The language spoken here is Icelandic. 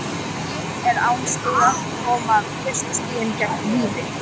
Huginn er án stiga, koma fyrstu stigin gegn Víði?